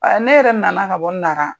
A ne yɛrɛ na na ka bɔ Nara.